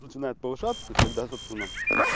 начинает повышаться то есть когда собственно